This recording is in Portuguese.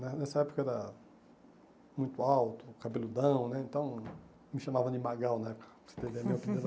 Né nessa época era muito alto, cabeludão né, então, me chamavam de Magal na época, para você ter ideia.